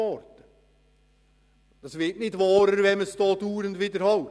Das Gegenteil wird nicht wahrer, wenn man es dauernd wiederholt.